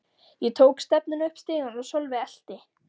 Ég tók stefnuna upp stigann og Sölvi elti.